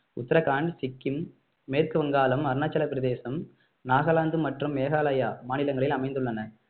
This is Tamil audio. உத்தரகாண்ட் சிக்கிம் மேற்கு வங்காளம் அருணாச்சலப்பிரதேசம் நாகாலாந்து மற்றும் மேகாலயா மாநிலங்களில் அமைந்துள்ளன